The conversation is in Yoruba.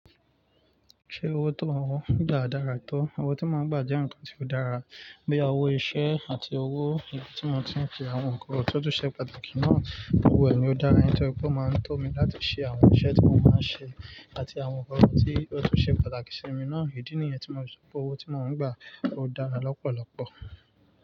Ṣé owó tío mo ń gba dára tó? Owó tí mo ń gba jẹ́ ǹkan tí ó dára. Boya owó iṣẹ́ àti owó ìyà tí mo ti ń fi àwọn ǹkan itọ̀ọ̀tọ̀ ṣe pàtàkì náà. Owó ẹni ó dára, nítorí pé ó máa ń tọ́ mi láti ṣe àwọn iṣẹ́ tí mo máa ń ṣe àti àwọn ǹkan tí ó tu ṣe pàtàkì sí mi náà. Idí ni ìyẹn tí mo rò pé owó tí mo ń gba ó dára lọ́pọ̀lọpọ̀.